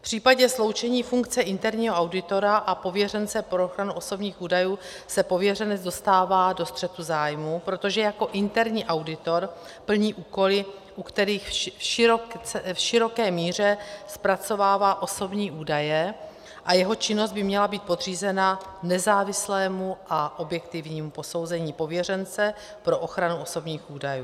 V případě sloučení funkce interního auditora a pověřence pro ochranu osobních údajů se pověřenec dostává do střetu zájmů, protože jako interní auditor plní úkoly, u kterých v široké míře zpracovává osobní údaje, a jeho činnost by měla být podřízena nezávislému a objektivnímu posouzení pověřence pro ochranu osobních údajů.